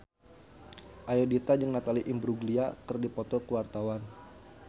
Ayudhita jeung Natalie Imbruglia keur dipoto ku wartawan